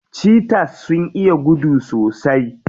Cheaters sun iya gudu sosai.